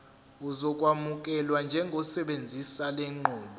uzokwamukelwa njengosebenzisa lenqubo